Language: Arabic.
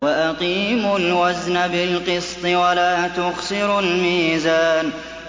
وَأَقِيمُوا الْوَزْنَ بِالْقِسْطِ وَلَا تُخْسِرُوا الْمِيزَانَ